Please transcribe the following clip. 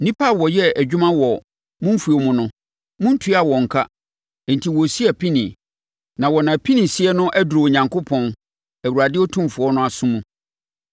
Nnipa a wɔyɛɛ adwuma wɔ mo mfuo mu no, montuaa wɔn ka enti wɔresi apinie. Na wɔn apinisie no aduru Onyankopɔn, Awurade Otumfoɔ no aso mu.